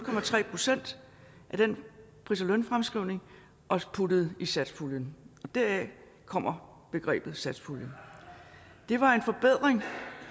procent af den pris og lønfremskrivning og puttede dem i satspuljen og deraf kommer begrebet satspuljen det var en forbedring